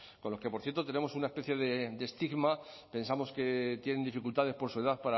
con los que por cierto tenemos una especie de estigma pensamos que tienen dificultades por su edad